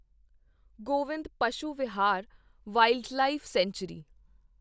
Govind Pashu Vihar wildlife sanctuary